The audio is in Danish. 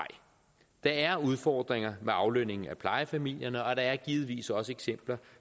der er udfordringer med aflønningen af plejefamilierne og der er givetvis også eksempler